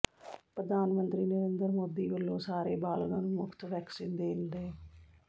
ਪ੍ਰਧਾਨ ਮੰਤਰੀ ਨਰਿੰਦਰ ਮੋਦੀ ਵੱਲੋਂ ਸਾਰੇ ਬਾਲਗਾਂ ਨੂੰ ਮੁਫਤ ਵੈਕਸੀਨ ਦੇਣ ਦੇ